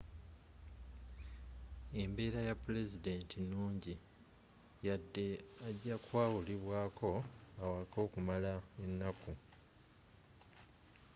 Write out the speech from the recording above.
embeera ya pulezidenti nungi yadde aja kwawulibwaako awaka okumala ennaku